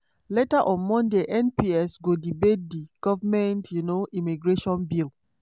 later on monday mps go debate di goment um immigration bill.